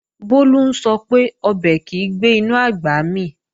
Bólú ń sọ pé, ọbẹ̀ kìí gbé inú àgbà mì